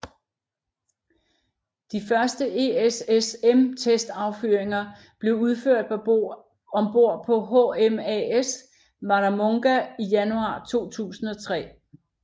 De første ESSM testaffyringer blev udført ombord på HMAS Warramunga i januar 2003